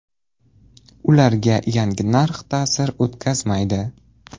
Ularga yangi narx ta’sir o‘tkazmaydi”.